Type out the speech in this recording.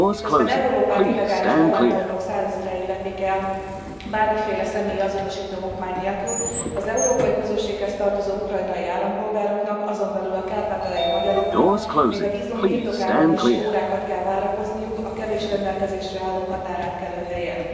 Miközben Európát illegális bevándorlók százezrei lepik el bármiféle személyi azonosító okmány nélkül, az európai közösséghez tartozó ukrajnai állampolgároknak, azon belül a kárpátaljai magyaroknak, még a vízum birtokában is órákat kell várakozniuk a kevés rendelkezésre álló határátkelőhelyen.